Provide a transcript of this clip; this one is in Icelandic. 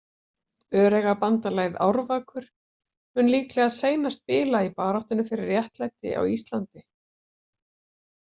Öreigabandalagið Árvakur mun líklega seinast bila í baráttunni fyrir réttlæti á Íslandi.